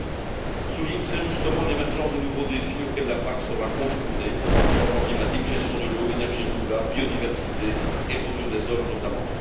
Lyon souligne t il très justement l'émergence de nouveaux défis auxquels la PAC sera confrontée changements climatiques, gestion de l'eau, énergies renouvelables, biodiversité, érosion des sols, notamment.